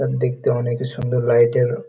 তা দেখতে অনেক সুন্দর লাইটের ও --